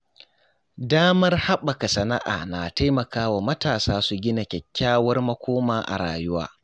Damar haɓaka sana’a na taimakawa matasa su gina kyakkyawar makoma a rayuwa.